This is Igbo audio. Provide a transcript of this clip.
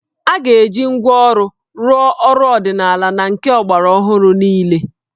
A ga-eji ngwá ọrụ rụọ ọrụ ọdịnala na nke ọgbaraọhụrụ niile